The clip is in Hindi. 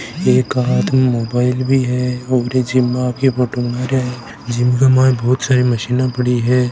एक के हाथ मे मोबाइल भी है और ये जिम मे आके फोटो बना रिया है जिम के माइन बहुत सारी मशीना पड़ी है।